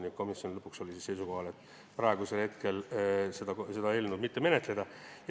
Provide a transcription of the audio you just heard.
Nii et komisjon jäi lõpuks seisukohale, et praegu ei tuleks seda eelnõu menetleda.